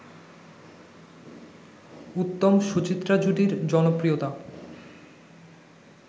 উত্তম-সুচিত্রা জুটির জনপ্রিয়তা